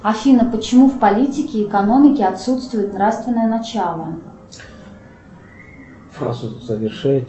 афина почему в политике и экономике отсутствует нравственное начало